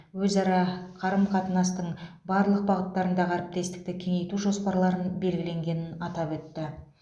өзара қарым қатынастың барлық бағыттарындағы әріптестікті кеңейту жоспарларын белгіленгенін атап өтті